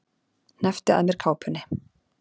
Hneppti að mér kápunni.